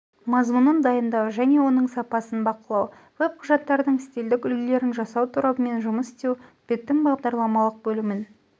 мазмұнын дайындау және оның сапасын бақылау веб-құжаттардың стильдік үлгілерін жасау торабымен жұмыс істеу беттің бағдарламалық бөлімін